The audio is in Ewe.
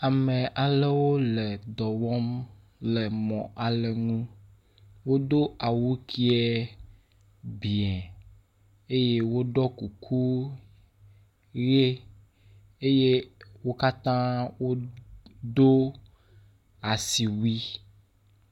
Ame aɖewo le dɔ wɔm le mɔ aɖe ŋu. wodo aw uke biã eye woɖɔ kuku ʋi eye wo katã wodo asiwui.